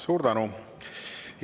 Suur tänu!